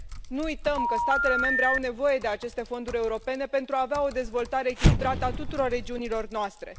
Nu uităm că statele membre au nevoie de aceste fonduri europene pentru a avea o dezvoltare echilibrată a tuturor regiunilor noastre.